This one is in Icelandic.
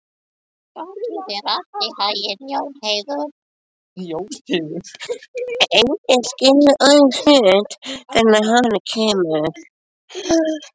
Enginn skilur orðinn hlut fyrr en að honum kemur.